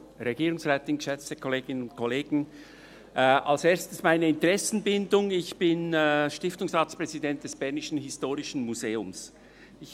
Zuerst meine Interessenbindung: Ich bin Stiftungsratspräsident des Bernischen Historischen Museums (BHM).